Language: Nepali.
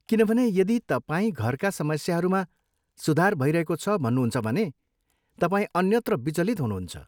किनभने, यदि तपाईँ घरका समस्याहरूमा सुधार भइरहेको छ भन्नुहुन्छ भने, तपाईँ अन्यत्र विचलित हुनुहुन्छ।